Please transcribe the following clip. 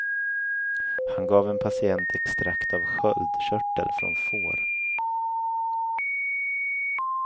Han gav en patient extrakt av sköldkörtel från får.